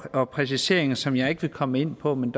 og er præciseringer som jeg ikke vil komme ind på men